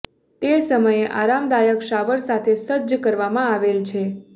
તે સમયે આરામદાયક શાવર સાથે સજ્જ કરવામાં આવેલ છે